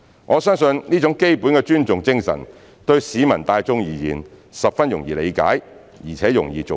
我相信這種基本的尊重精神，對市民大眾而言十分容易理解，而且容易做到。